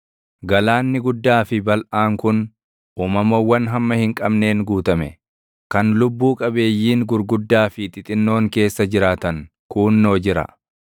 Galaanni guddaa fi balʼaan kun, uumamawwan hamma hin qabneen guutame; kan lubbuu qabeeyyiin gurguddaa fi // xixinnoon keessa jiraatan kuunnoo jira.